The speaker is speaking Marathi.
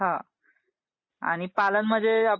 हम्म आणि पालन म्हणजे... ping conversation